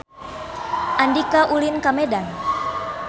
Andika ulin ka Medan